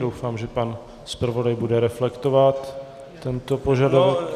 Doufám, že pan zpravodaj bude reflektovat tento požadavek.